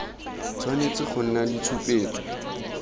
tshwanetse go nna le tshupetso